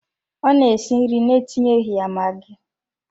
Ọ na-esi nri na-etinyeghi ya magi.